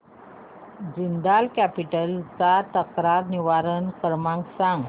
Jindal capital चा तक्रार निवारण क्रमांक सांग